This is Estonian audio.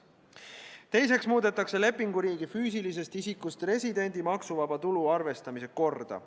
Teiseks muudetakse lepinguriigi füüsilisest isikust residendi maksuvaba tulu arvestamise korda.